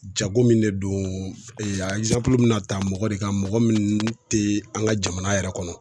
Jago min de don a be na ta mɔgɔ de kan, mɔgɔ min te an ka jamana yɛrɛ kɔnɔ.